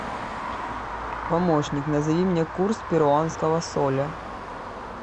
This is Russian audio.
помощник назови мне курс перуанского соля